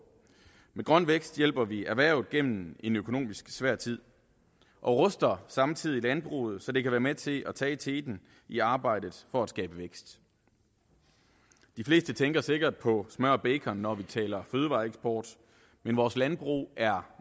med grøn vækst hjælper vi erhvervet gennem en økonomisk svær tid og ruster samtidig landbruget så det kan være med til at tage teten i arbejdet for at skabe vækst de fleste tænker sikkert på smør og bacon når vi taler fødevareeksport men vores landbrug er